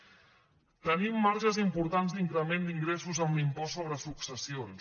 tenim marges importants d’increment d’ingressos amb l’impost sobre successions